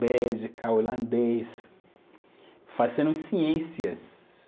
Bélgica, holandês, fazendo ciências.